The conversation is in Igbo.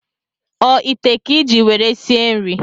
O ite a ka iji nwere sie nri?